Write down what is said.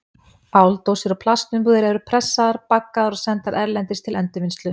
Áldósir og plastumbúðir eru pressaðar, baggaðar og sendar erlendis til endurvinnslu.